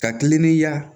Ka kiliniyaa